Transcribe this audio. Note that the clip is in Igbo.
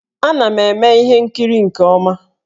Ana m eme ihe nkiri nke ọma